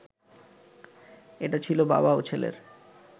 এটা ছিল বাবা ও ছেলের